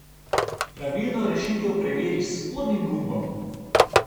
Pravilno rešitev preveri s spodnjim gumbom.